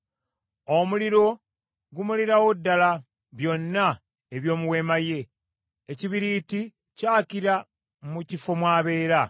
Omuliro gumalirawo ddala byonna eby’omu weema ye; ekibiriiti kyakira mu kifo mw’abeera.